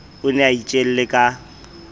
o ne a itjele ka